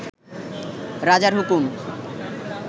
রাজার হুকুম